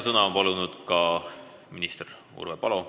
Sõna on palunud ka minister Urve Palo.